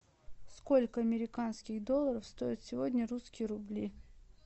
сколько американских долларов стоят сегодня русские рубли